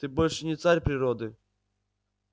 ты больше не царь природы